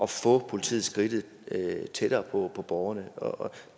få politiet skridtet tættere på borgerne